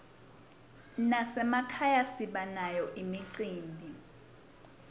nasemakhaya sibanayo imicimbi